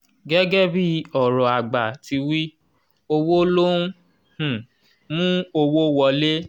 gẹ́gẹ́ bí ọ̀rọ̀ àgbà ti wí “"owó ló ń um mú owó wọlé".